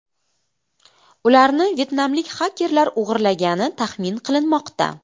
Ularni vyetnamlik xakerlar o‘g‘irlagani taxmin qilinmoqda.